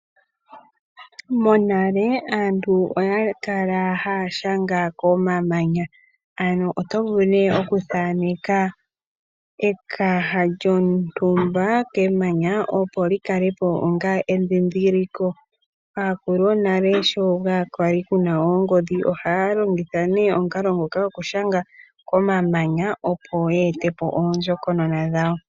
Monale aantu oya kala haya nyola komamanya. Oto vulu ne okuthaneka ekaha lyontumba kemanya, opo likale po onga endhindhililo. Aakulu yonale sho kaa kwa li ku na oongodhi ohaya longitha ne omukalo ngoka gokunyola komamanya opo ya ete po oondjokonona dhawo.